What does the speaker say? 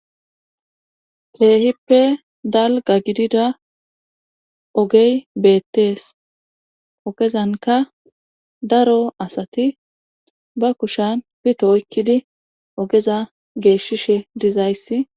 Keehippe dalga gidida ogey beettees ogezanka daro asati ba kushan pito oykkidi ogeza geeshishe dizayssi.